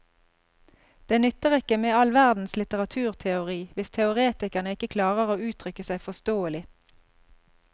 Det nytter ikke med all verdens litteraturteori hvis teoretikerne ikke klarer å uttrykke seg forståelig.